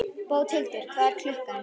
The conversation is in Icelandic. Bóthildur, hvað er klukkan?